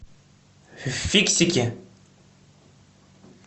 фиксики